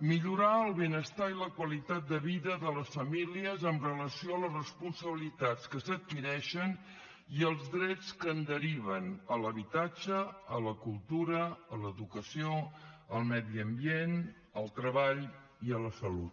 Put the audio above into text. millorar el benestar i la qualitat de vida de les famílies amb relació a les responsabilitats que s’adquireixen i als drets que en deriven a l’habitatge a la cultura a l’educació al medi ambient al treball i a la salut